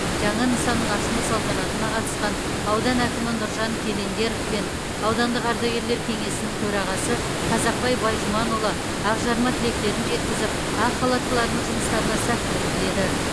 жаңа нысанның ашылу салтанатына қатысқан аудан әкімі нұржан календеров пен аудандық ардагерлер кеңесінің төрағасы қазақбай байжұманұлы ақжарма тілектерін жеткізіп ақ халаттылардың жұмыстарына сәттілік тіледі